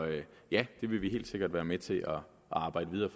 ja det vil vi helt sikkert være med til at arbejde videre